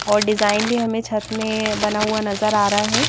और डिजाइन भी हमें छत में बना हुआ नजर आ रहा है।